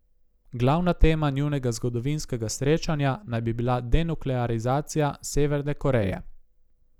Glavna tema njunega zgodovinskega srečanja naj bi bila denuklearizacija Severne Koreje.